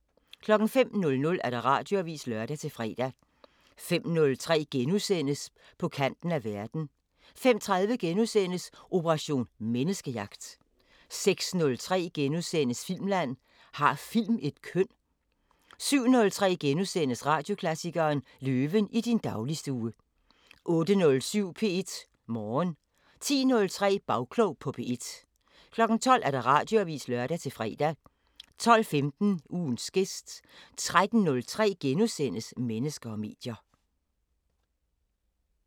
05:00: Radioavisen (lør-fre) 05:03: På kanten af verden * 05:30: Operation Menneskejagt * 06:03: Filmland: Har film et køn? * 07:03: Radioklassikeren: Løven i din dagligstue * 08:07: P1 Morgen 10:03: Bagklog på P1 12:00: Radioavisen (lør-fre) 12:15: Ugens gæst 13:03: Mennesker og medier *